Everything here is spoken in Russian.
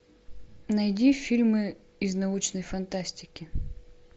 найди фильмы из научной фантастики